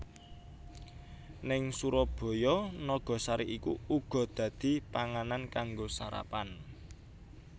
Ning Surabaya nagasari iku uga dadi panganan kanggo sarapan